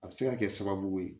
A bɛ se ka kɛ sababu ye